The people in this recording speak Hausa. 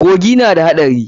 Kogi na da haɗari.